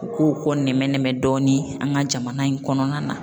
U k'o kɔ nɛmɛ nɛmɛ dɔɔni an ka jamana in kɔnɔna na.